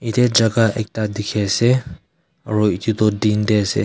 ede jaga ekta dikhe ase aro edu toh din de ase.